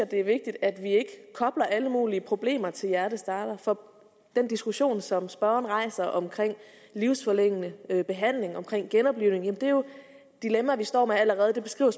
det er vigtigt at vi ikke kobler alle mulige problemer til hjertestartere for den diskussion som spørgeren rejser om livsforlængende behandling om genoplivning er jo dilemmaer vi står med allerede det beskriver